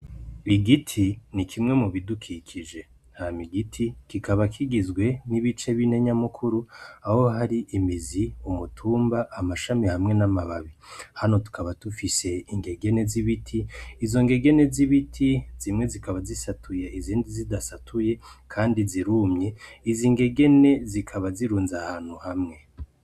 Igiti ni kimwe mubidukikije hamigiti kikaba kigizwe n'ibice b'inenyamukuru aho hari imizi umutumba amashami hamwe n'amababi hano tukaba dufise ingegene z'ibiti izo ngegene z'ibiti zimwe zikaba zisatuya izindi zidasatuye, kandi zirumye zi ingege ne zikaba zirunza aahantu hamwe.